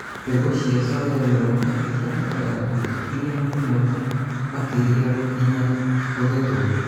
mbegũ cia soya nyũmũ ibatalaga thikũ igana rĩmwe kana makelia gũkinya kũgethwo